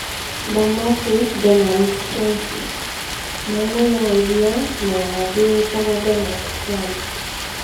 Dermophis donaldtrumpi: Nyamũ ya iria na ya thĩ ĩĩtagwo Donald Trump